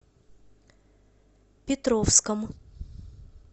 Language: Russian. петровском